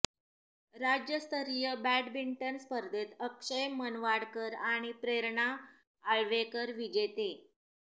राज्यस्तरीय बॅडमिंटन स्पर्धेत अक्षय मनवाडकर आणि प्रेरणा आळवेकर विजेते